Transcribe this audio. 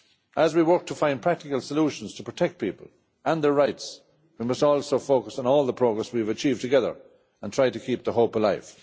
As we work to find practical solutions to protect people and their rights, we must also focus on all the progress we have achieved together and try to keep the hope alive.